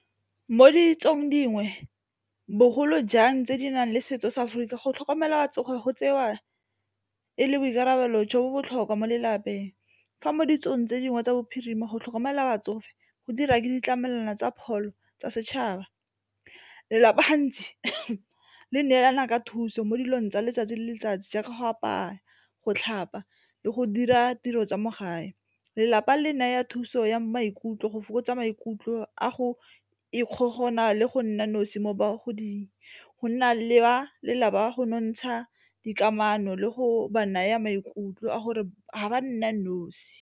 Mo ditsong dingwe bogolo jang tse di nang le setso sa Aforika, go tlhokomela batsofe go tsewa e le boikarabelo jo bo botlhokwa mo lelapeng, fa mo ditsong tse dingwe tsa Bophirima mo go tlhokomela batsofe go dira ke ditlamelwana tsa pholo tsa setšhaba lelapa gantsi le neelana ka thuso mo dilong tsa letsatsi le letsatsi jaaka go apaya go tlhapa le go dira tiro tsa mo gae lelapa le naya thuso ya maikutlo go maikutlo a go ikgogomosa le go nna nosi mo bagoding go nna leba lela ba go nontsha dikamano le go ba naya maikutlo a gore ga ba nna nosi.